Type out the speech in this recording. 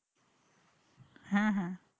হ্যাঁ হ্যাঁ